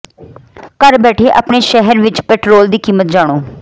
ਘਰ ਬੈਠੇ ਆਪਣੇ ਸ਼ਹਿਰ ਵਿਚ ਪੈਟਰੋਲ ਦੀ ਕੀਮਤ ਜਾਣੋ